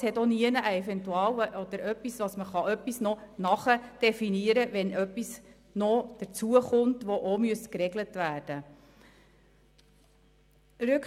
Es gibt auch nirgendwo einen Punkt, wo man noch etwas nachdefinieren könnte, falls etwas hinzukommt, das auch noch geregelt werden müsste.